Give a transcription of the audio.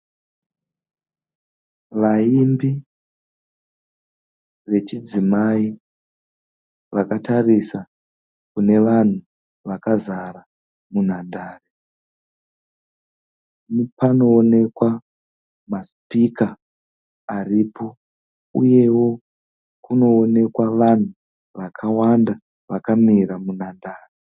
Vaimbi vechidzimai vakatarisa kune vanhu vakazara munhandare, panoonekwa masipika aripo uyewo kunoonekwa vanhu vakawanda vakamira munhandare.